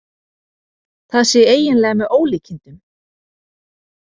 Það sé eiginlega með ólíkindum